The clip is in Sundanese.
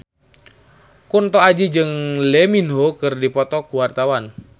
Kunto Aji jeung Lee Min Ho keur dipoto ku wartawan